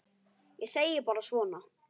Ég segi bara svona.